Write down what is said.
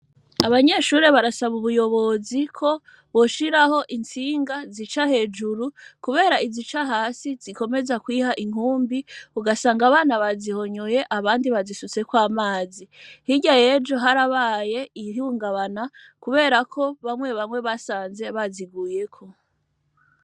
abanyeshuri barasaba ubuyobozi ko boshiraho intsinga zica hejuru kubera izica hasi zikomeza kwiha intumbi ugasanga abana bazihonyoye abandi bazisutseko amazi hirya yejo harabaye ihungabana bamwe basanze baziguyeko.